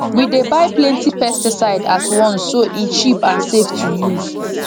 we dey buy plenty pesticide at once so e cheap and safe to use